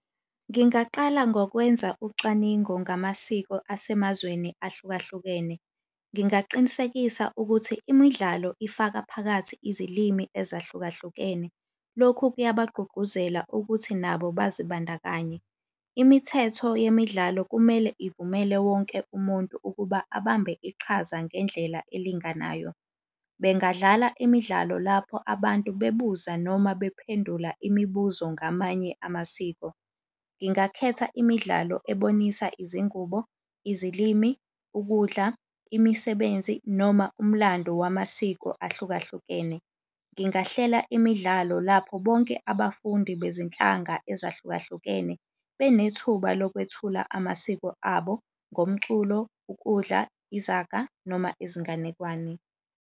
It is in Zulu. Ngingaqala ngokwenza ucwaningo ngamasiko asemazweni ahlukahlukene. Ngingaqinisekisa ukuthi imidlalo ifaka phakathi izilimi ezahlukahlukene. Lokhu kuyabagqugquzela ukuthi nabo bazibandakanye. Imithetho yemidlalo kumele ivumele wonke umuntu ukuba abambe iqhaza ngendlela elinganayo. Bengadlala imidlalo lapho abantu bebuza noma baphendula imibuzo ngamanye amasiko. Ngingakhetha imidlalo ebonisa izingubo, izilimi, ukudla, imisebenzi, noma umlando wamasiko ahlukahlukene. Ngingahlela imidlalo lapho bonke abafundi bezinhlanga ezahlukahlukene benethuba lokwethula amasiko abo ngomculo, ukudla, izaga, noma izinganekwane.